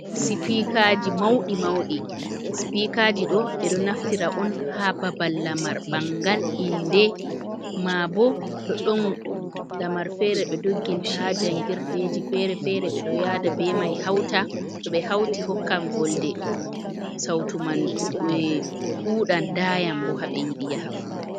Sipikaji mauɗi mauɗi. Sipikaji ɗo ɓeɗo naftira on ha babal lamar bangal, inde, ma bo to ɗon lamar fere ɓe dogginta ha jangirɗeji fere-fere. Ɓeɗo yada be mai hauta. To ɓe hauti, hokkan volde sauto man ɗuɗan dayan bo haɓe yiɗi yaha fu.